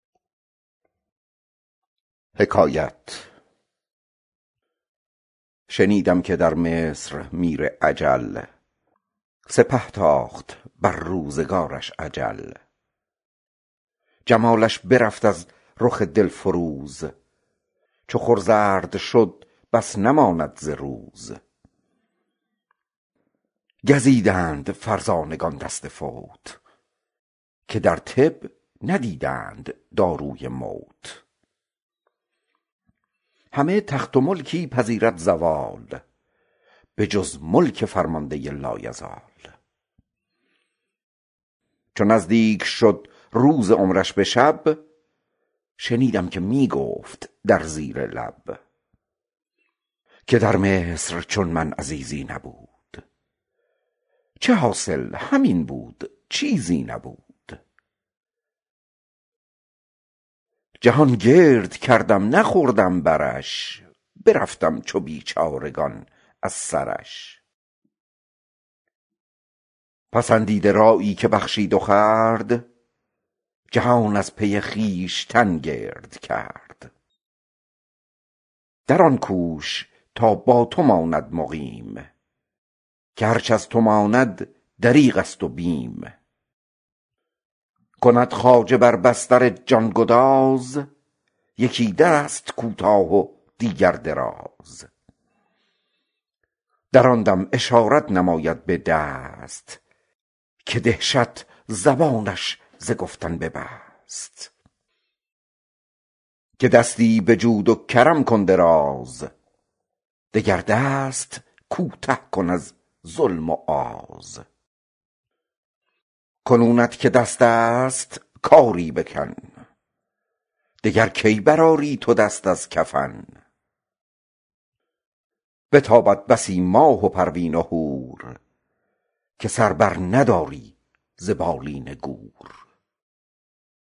شنیدم که در مصر میری اجل سپه تاخت بر روزگارش اجل جمالش برفت از رخ دل فروز چو خور زرد شد بس نماند ز روز گزیدند فرزانگان دست فوت که در طب ندیدند داروی موت همه تخت و ملکی پذیرد زوال به جز ملک فرمانده لایزال چو نزدیک شد روز عمرش به شب شنیدند می گفت در زیر لب که در مصر چون من عزیزی نبود چو حاصل همین بود چیزی نبود جهان گرد کردم نخوردم برش برفتم چو بیچارگان از سرش پسندیده رایی که بخشید و خورد جهان از پی خویشتن گرد کرد در این کوش تا با تو ماند مقیم که هرچ از تو ماند دریغ است و بیم کند خواجه بر بستر جان گداز یکی دست کوتاه و دیگر دراز در آن دم تو را می نماید به دست که دهشت زبانش ز گفتن ببست که دستی به جود و کرم کن دراز دگر دست کوته کن از ظلم و آز کنونت که دست است خاری بکن دگر کی بر آری تو دست از کفن بتابد بسی ماه و پروین و هور که سر بر نداری ز بالین گور